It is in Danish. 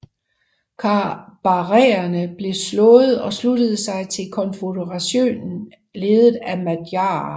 Kabarerne blev slået og sluttede sig til en konføderation ledet af madjarer